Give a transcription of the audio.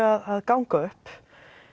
að ganga upp